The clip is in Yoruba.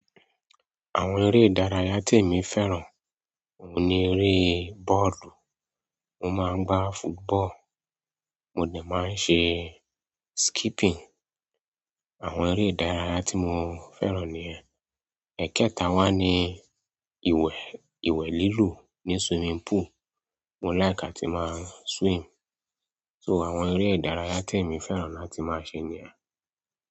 Àwọn eré ìdárayá tí èmi fẹ́ràn òun ni eré bọ́ọ̀lù. Mo máa ń gbá football, mo de máa ń ṣe skipping. Àwọn eré ìdárayá tí mo fẹ́ràn niyen ẹ̀ẹ̀kẹta wá ni ìwẹ̀, ìwẹ̀ lílù ní swimming pool. Mo like atí máa swim. So àwọn eré ìdárayá tí èmi fẹ́ràn láti máa ṣe niyen.